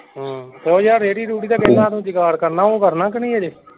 ਉਹ ਯਾਰ ਰੇੜੀ ਰੂੜੀ ਦਾ ਜੁਗਾੜ ਕਰਨਾ ਉਹ ਕਰਨਾ ਕੇ ਨਹੀਂ ਹਜੇ।